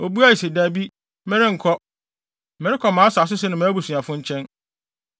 Obuae se, “Dabi, merenkɔ; merekɔ mʼasase so ne mʼabusuafo nkyɛn.”